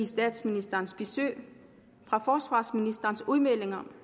statsministerens besøg af forsvarsministerens udmeldinger